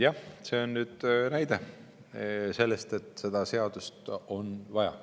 Jah, see on näide sellest, et seda seadust on vaja.